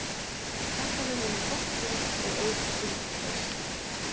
Ég þakkaði honum gott boð og auðsýnt traust.